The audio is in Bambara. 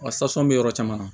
Wa sasɔn bɛ yɔrɔ caman na